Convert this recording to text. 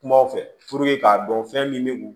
Kumaw fɛ k'a dɔn fɛn min bɛ kun